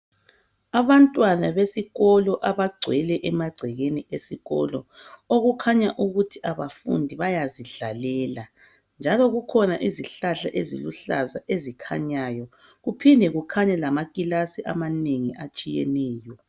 Abantwana besikolo abagcwele emagcekeni esikolo, okukhanya ukuthi abafundi bayazidlalela njalo kukhona izihlahla eziluhlaza ezikhanyayo, kuphinde kukhanye lamakilasi amanengi atshiyeneyo.